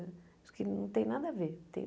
Acho que não tem nada a ver.